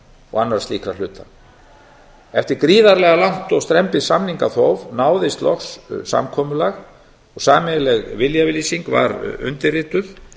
og annarra slíkra hluta eftir gríðarlega langt og strembið samningaþóf náðist loks samkomulag og sameiginleg viljayfirlýsing var undirrituð